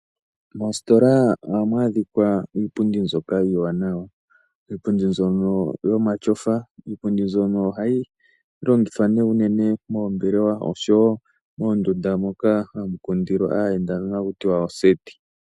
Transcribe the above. Moositola ohamu adhika iipundji mbyoka iiwaanawa, iipundi mbyono yomatyofa, iipundi mbyono ohayi longithwa nee unene moombelewa oshowo moondunda moka hamu kundilwa aayendwa nenge haku tiwa oseti.